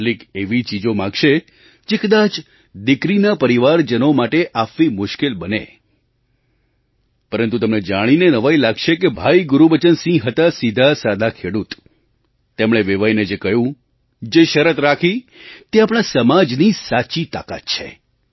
કેટલીક એવી ચીજો માગશે જે કદાચ દીકરીના પરિવારજનો માટે આપવી મુશ્કેલ બને પરંતુ તમને જાણીને નવાઈ લાગશે કે ભાઈ ગુરુબચનસિંહ હતા સીધાસાદા ખેડૂત તેમણે વેવાઈને જે કહ્યું જે શરત રાખી તે આપણા સમાજની સાચી તાકાત છે